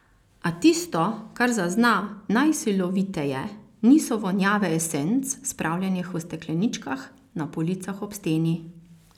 A tisto, kar zazna najsiloviteje, niso vonjave esenc, spravljenih v stekleničkah na policah ob steni.